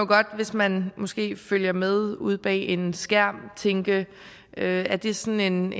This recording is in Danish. godt hvis man måske følger med ude bag en skærm tænke at at det er sådan en